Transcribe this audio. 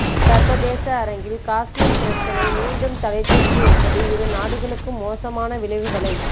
சர்வதேச அரங்கில் கஷ்மீர் பிரச்சனை மீண்டும் தலைத்தூக்கி இருப்பது இரு நாடுகளுக்கும் மோசமான விளைவுகளை